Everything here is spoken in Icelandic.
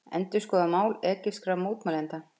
Endurskoða mál egypskra mótmælenda